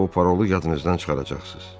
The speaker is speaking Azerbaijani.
və o parolu yadınızdan çıxaracaqsınız.